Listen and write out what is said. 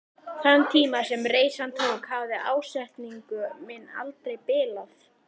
Þann tíma sem reisan tók hafði ásetningur minn aldrei bilað.